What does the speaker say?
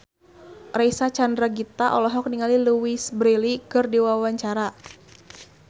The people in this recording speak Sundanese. Reysa Chandragitta olohok ningali Louise Brealey keur diwawancara